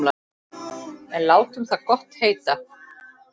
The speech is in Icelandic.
En látum það gott heita.